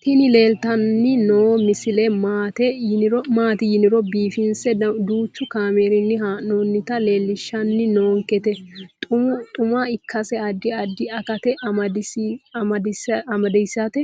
tini leeltanni noo misile maaati yiniro biifinse danchu kaamerinni haa'noonnita leellishshanni nonketi xuma ikkase addi addi akata amadaseeti